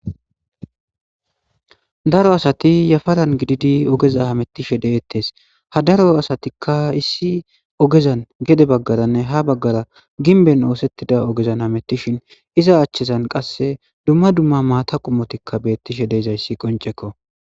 Daro Asati yafaran giddidi oggeza hametishe detes. Ha Daro Asatikka issi oggezan gede bagaranne ha gimben osetida oggezan Hametishin iza Hachisan qase duuma duuma maththa Qommotti betishe de'izsyssi qonccekko.